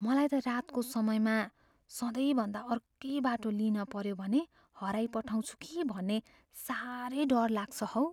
मलाई त रातको समयमा सधैँभन्दा अर्कै बाटो लिनपऱ्यो भने हराइपठाउँछु कि भन्ने साह्रै डर लाग्छ हौ।